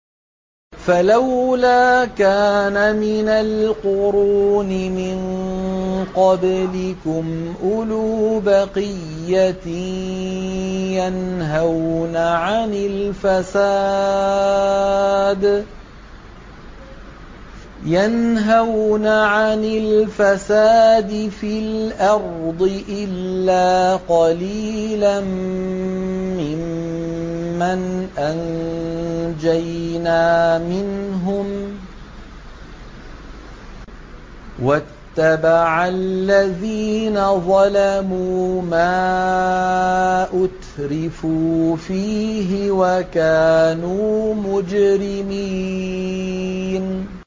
فَلَوْلَا كَانَ مِنَ الْقُرُونِ مِن قَبْلِكُمْ أُولُو بَقِيَّةٍ يَنْهَوْنَ عَنِ الْفَسَادِ فِي الْأَرْضِ إِلَّا قَلِيلًا مِّمَّنْ أَنجَيْنَا مِنْهُمْ ۗ وَاتَّبَعَ الَّذِينَ ظَلَمُوا مَا أُتْرِفُوا فِيهِ وَكَانُوا مُجْرِمِينَ